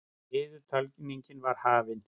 Niðurtalningin var hafin.